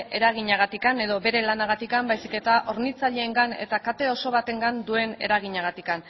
eraginagatik edo bere lanagatik baizik eta hornitzaileengan eta kate oso batengan duen eraginagatik